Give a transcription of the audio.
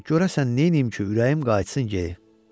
ay, görəsən neyniyim ki, ürəyim qayıtsın yeri.